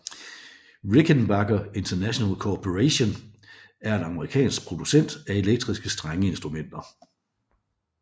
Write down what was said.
Rickenbacker International Corporation er en amerikansk producent af elektriske strengeinstrumenter